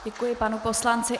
Děkuji panu poslanci.